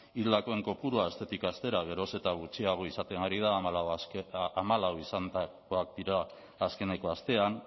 hildakoen kopurua astetik astera geroz eta gutxiago izaten ari da hamalau izan dira azkeneko astean